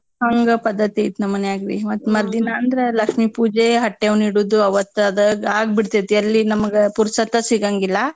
ಹಂಗ ಪದ್ದತೈತಿ ನಮ್ ಮನ್ಯಾಗ ರೀ ಮತ್ ಮರ್ದಿನಾಂದ್ರ್ ಲಕ್ಷ್ಮೀ ಪೂಜೆ ಹಟ್ಯವ್ವ್ನ್ ಇಡುದು ಅವತ್ ಅದ್ ಆಗ್ಬೀಡ್ತೇತ್ ಎಲ್ಲಿ ನಮ್ ಪುರ್ಸೋತ್ ಸಿಗಂಗಿಲ್ಲಾ.